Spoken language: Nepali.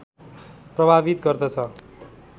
प्रभावित गर्दछ